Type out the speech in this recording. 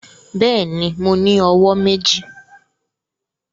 Bẹẹni, Mo ni ọwọ meji.